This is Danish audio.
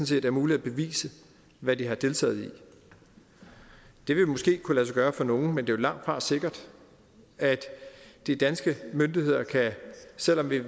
set er muligt at bevise hvad de har deltaget i det vil måske kunne lade sig gøre for nogle men det er jo langtfra sikkert at de danske myndigheder selv om vi